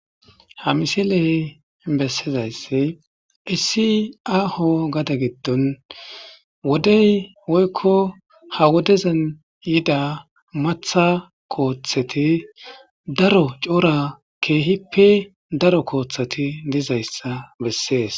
ha misiley bessizaysse issi aho gada giddon wodey woykko ha wodezan yida matha kooththeti daro coora keehippe daro kooththati dizayssa bessees